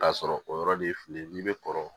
K'a sɔrɔ o yɔrɔ de ye filen n'i bɛ kɔrɔ